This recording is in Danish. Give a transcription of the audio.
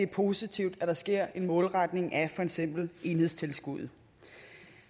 positivt at der sker en målretning af for eksempel enhedstilskuddet